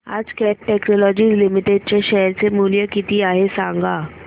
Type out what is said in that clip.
आज Cat technologies limited चे share चे मूल्य किती आहे सांगा